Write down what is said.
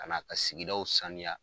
Ka na ka sigidaw saniya.